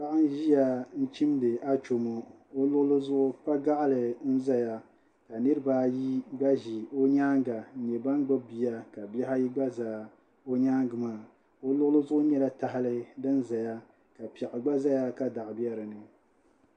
Paɣa n ʒiya n chimdi achomo o luɣuli zuɣu kpa gaɣali n ʒɛya ka nirabaayi gba ʒi o nyaanga n nyɛ ban gbubi bia ka bihi ayi gba ʒɛ o nyaanga maa o luɣuli zuɣu nyɛla tahali din ʒɛya ka doɣu biɛ dinni